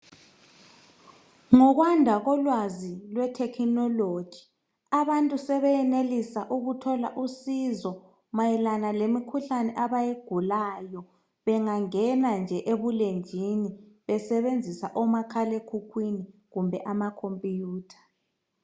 Ngokwanda kolwazi lethekhinoloji abantu sebeyenelisa ukuthola usizo mayelana lemikhuhlane abayigulayo bengangena nje ebulenjini besebenzisa omakhalekhukhwini kumbe amakhompiyutha.